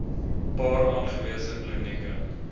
paar aangewese klinieke